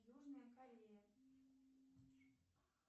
южная корея